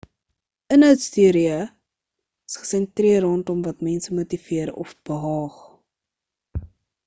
inhoudsteorieë is gesentreer rondom wat mense motiveer of behaag